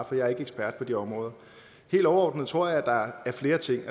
for jeg er ikke ekspert på det område og helt overordnet tror jeg at der er flere ting i